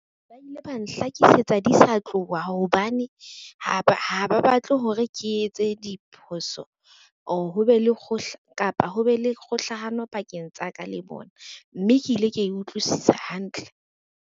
Ba ile ba nhlakisetsa di sa tloha hobane ha ba batle hore ke etse diphoso or ho be le kapa ho be le kgohlahano pakeng tsa ka le bona. Mme ke ile ka e utlwisisa hantle.